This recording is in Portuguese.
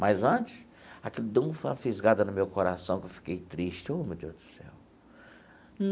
Mas, antes, aquilo deu uma fisgada no meu coração, que eu fiquei triste. Ô meu Deus do céu.